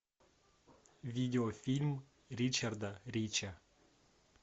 видеофильм ричарда рича